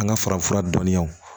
An ka farafinfura dɔnniyaw